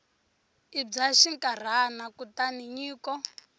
i bya xinkarhana kutani nyiko